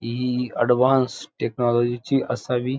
हि एक अडवान्स टेक्नोलॉजीची असावी.